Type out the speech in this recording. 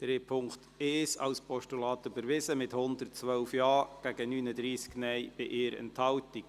Sie haben den Punkt 1 angenommen, mit 112 Ja- gegen 39 Nein-Stimmen bei 1 Enthaltung.